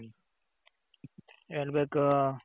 ಹೇಳ್ಬೇಕು